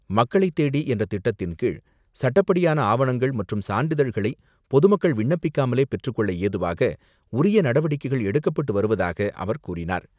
மக்களை தேடி என்ற திட்டத்தின்கீழ், சட்டப்படியான ஆவணங்கள் மற்றும் சான்றிதழ்களை பொதுமக்கள் விண்ணப்பிக்காமலே பெற்றுக்கொள்ள ஏதுவாக உரிய நடவடிக்கைகள் எடுக்கப்பட்டு வருவதாக அவர் கூறினார்.